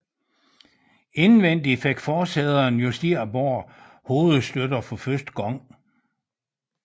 Indvendig fik forsæderne justerbare hovedstøtter for første gang